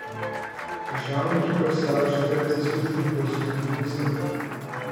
Reševalno ekipo je sestavljala četverica izkušenih poljskih alpinistov.